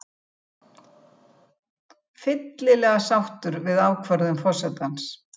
Fyllilega sáttur við ákvörðun forsetans